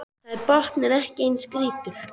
Þar er botninn ekki eins grýttur